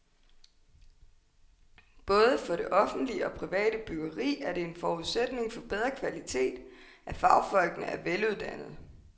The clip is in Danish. Både for det offentlige og private byggeri er det en forudsætning for bedre kvalitet, at fagfolkene er veluddannede.